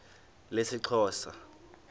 lesixhosa